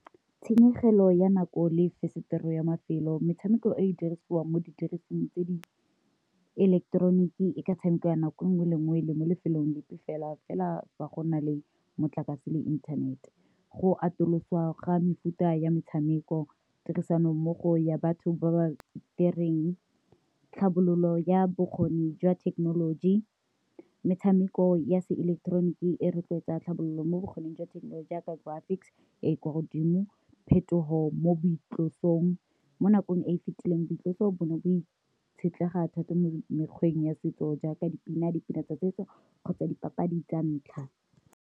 Tshenyegelo ya nako le fensetere ya mafelo, metshameko e e dirisiwang mo didirisweng tse di eleketeroniki e ka tshamekwa nako nngwe le nngwe e le mo lefelong lepe fela, fela fa go na le motlakase le inthanete. Go atoloswa ga mefuta ya metshameko, tirisanommogo ya batho ba ba direng tlhabololo ya bokgoni jwa thekenoloji, metshameko ya se ileketeroniki e rotloetsa tlhabololo mo bokgoning jwa thekenoloji jaaka graphics e kwa godimo, phetogo mo boitlosobodutu mo nakong e e fitileng rotloetse o bone bo itshetlegile thata mo mekgweng ya setso jaaka dipina tsa setso kgotsa dipapadi tsa ntlha.